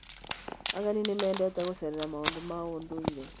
Ageni nĩ mendete gũceerera maũndũ ma ũndũire.